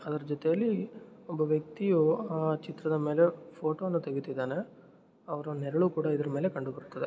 ಅದರ ಜೊತೆಯಲ್ಲಿ ಒಬ್ಬ ವ್ಯಕ್ತಿಯು ಚಿತ್ರದ ಫೋಟೋ ತೆಗೀತಿದಾನೆ ಅವನ ನೆರಳು ಕೂಡ ಇದರ ಮೇಲೆ ಕಂಡುಬರುತದೆ.